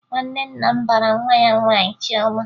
Nwanne nna m bara nwa ya nwaanyị Chiọma